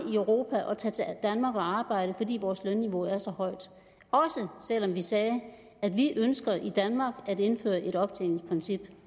europa at tage til danmark og arbejde fordi vores lønniveau er så højt også selv om vi sagde at vi ønsker i danmark at indføre et optjeningsprincip